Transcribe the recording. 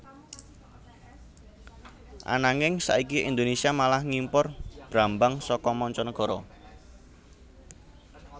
Ananging saiki Indonésia malah ngimpor brambang saka manca nagara